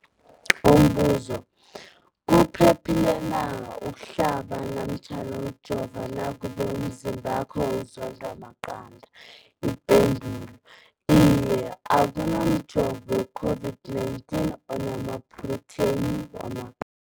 Umbuzo, kuphephile na ukuhlaba namkha ukujova nakube umzimbakho uzondwa maqanda. Ipendulo, Iye. Akuna mjovo we-COVID-19 ona maphrotheyini wama